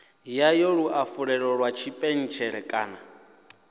yayo luafhulelo lwa tshipentshele kana